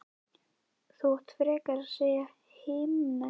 Þú átt frekar að segja himneskt